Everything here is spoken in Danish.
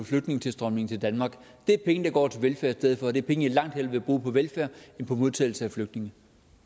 flygtningetilstrømningen til danmark det er penge der går til velfærd i stedet for og det er penge jeg langt hellere vil bruge på velfærd end på modtagelse af flygtninge